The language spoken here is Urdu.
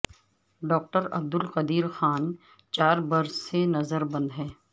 ڈاکٹر عبدالقدیر خان چار برس سے نظر بند ہیں